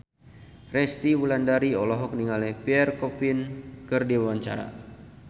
Resty Wulandari olohok ningali Pierre Coffin keur diwawancara